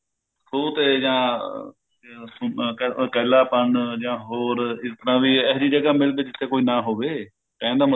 ਖੂਹ ਤੇ ਜਾਂ ਸੁਣਨ ਜਾਂ ਇੱਕਲਾ ਪਨ ਜਾਂ ਹੋਰ ਜਿਸ ਤਰਾਂ ਵੀ ਏਹੋਜਿਹੀ ਜਗ੍ਹਾ ਮਿਲਦੀ ਜਿੱਥੇ ਕੋਈ ਨਾ ਹੋਵੇ ਕਹਿਣ ਦਾ